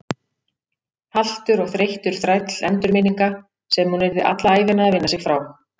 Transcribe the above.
Haltur og þreyttur þræll endurminninga sem hún yrði alla ævina að vinna sig frá.